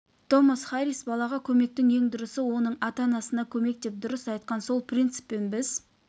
томас харис балаға көмектің ең дұрысы оның ата-анасына көмек деп дұрыс айтқан сол принциппен біз